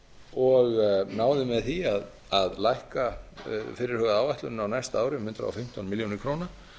og náði með því að lækka fyrirhugaða áætlun á næsta ári um hundrað og fimmtán milljónir króna